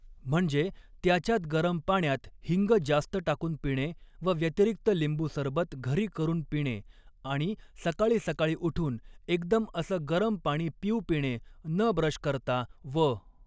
म्हणजे त्याच्यात गरम पाण्यात हिंग जास्त टाकून पिणे व व्यतिरिक्त लिंबू सरबत घरी करून पिणे अणि सकाळी सकाळी उठून एकदम असं गरम पाणी पिऊ पिणे न ब्रश करता व